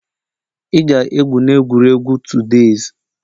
Ị ga-egwu na egwuregwu todays!